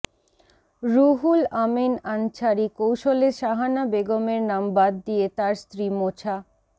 রুহুল আমীন আনছারী কৌশলে শাহানা বেগমের নাম বাদ দিয়ে তার স্ত্রী মোছা